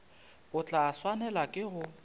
o tla swanela ke go